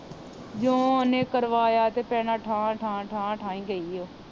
ਜਿਉ ਓਹਨੇ ਕਰਵਾਇਆ ਤੇ ਭੈਣਾਂ ਠਾ ਠਾ ਠਾ ਠਾ ਹੀ ਗਈ ਉਹ